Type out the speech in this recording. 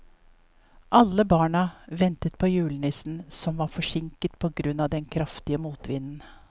Alle barna ventet på julenissen, som var forsinket på grunn av den kraftige motvinden.